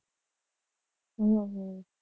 હમ